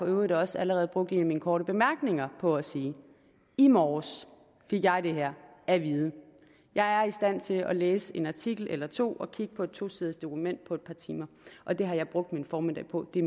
øvrigt også allerede brugt en af mine korte bemærkninger på at sige i morges fik jeg det her at vide jeg er i stand til at læse en artikel eller to og kigge på et tosiders dokument på et par timer og det har jeg brugt min formiddag på det